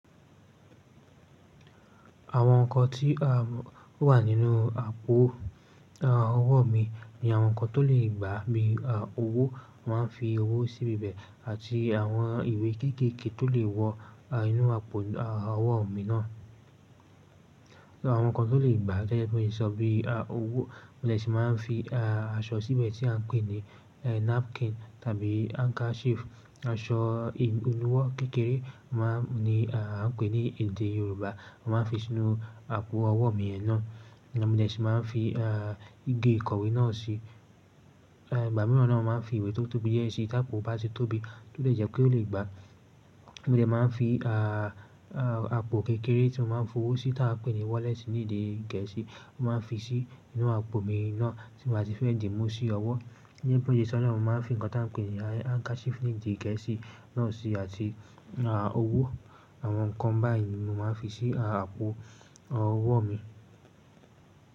Àwọn nǹkan tí o wà nínú àpò ọwọ́ mi ni àwọn nǹkan tó lè gbà bíi owó mo máa ń fi owó síbi ibẹ̀ àti àwọn ìwé kéékèèké tó lè wọ inú àpò ọwọ́ mi náà. Àwọn nǹkan tó lè gbà to jẹ́ pé ó lè sọ bí i owó mo dè sì máa ń fi aṣọ síbẹ̀ tí à ń pè ní napkin tàbí handkerchief, aṣọ ìnuwọ́ kékeré maa n ni a ń pè ní èdè Yorùbá, mo máa ń fi sínú àpò ọwọ́ mi yen náà. Mo dè sì máa ń fi igi ìkọ̀wé náà sií, ìgbà mìíràn naa mo máa ń fi ìwé tó tóbi diẹ́ síí tí àpò bá ṣe tóbi tó dè jẹ́ pé ó lè gbà. Mo dè máa ń fi àpò kékeré tí mo máa ń fowó sí tí a ń pè ní wallet ní èdè Gẹ̀ẹ́sì, mo máa ń fi sí inú àpò mi náà tí mo bá ti fẹ́ dii mú sí ọwọ́. Gẹ́gẹ́ bí mó ṣe sọ́ naà mo máa ń fi nǹkan tí à ń pè ní handkerchief ní èdè Gẹ̀ẹ́sì náà sí àti owó. Àwọn nǹkan báyìí ni mo máa ń fi sí àpò ọwọ́ mi.